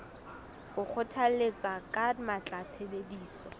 o kgothalletsa ka matla tshebediso